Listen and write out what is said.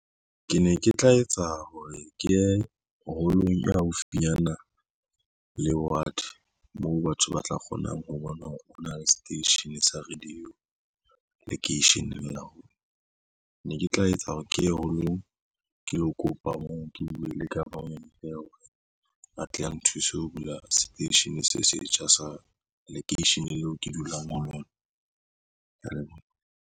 Ke ne ke tla etsa hore ke ye hall-ong e haufinyana le ward moo batho ba tla kgonang ho bona hore o na le seteishene sa radio lekeisheneng la rona ne ke tla etsa hore ke ye holong ke lo kopa moo ke buwe le government a tle a nthuse ho bula seteishene se setjha sa lekeisheneng leo ke dulang ho lona. Ke ya leboha.